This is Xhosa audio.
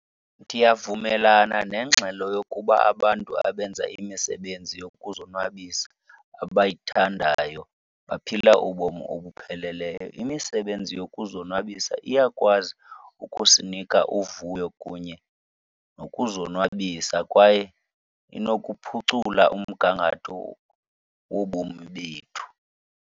Ndiyavumelana nengxelo yokuba abantu abenza imisebenzi yokuzonwabisa abayithandayo baphila ubomi obupheleleyo. Imisebenzi yokuzonwabisa iyakwazi ukusinika uvuyo kunye nokuzonwabisa kwaye inokuphucula umgangatho wobomi bethu.